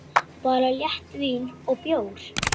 Bara léttvín og bjór.